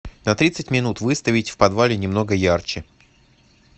на тридцать минут выставить в подвале немного ярче